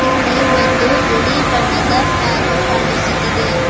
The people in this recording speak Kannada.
ಇಲ್ಲಿ ಒಂದು ಬಿಳಿ ಬಣ್ಣದ ಫ್ಯಾನು ಕಾಣಿಸುತಿದೆ.